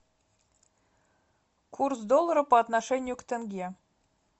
курс доллара по отношению к тенге